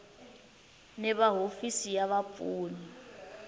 ni va hofisi ya vapfuni